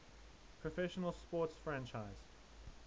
professional sports franchise